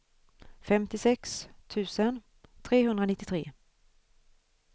femtiosex tusen trehundranittiotre